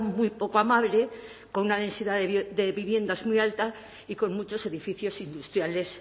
muy poco amable con una densidad de viviendas muy alta y con muchos edificios industriales